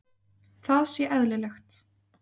Það sé eðlilegt.